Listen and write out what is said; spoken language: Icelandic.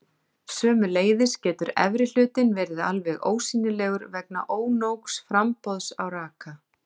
Sömuleiðis getur efri hlutinn verið alveg ósýnilegur vegna ónógs framboðs á raka.